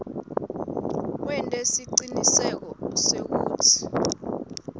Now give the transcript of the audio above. wente siciniseko sekutsi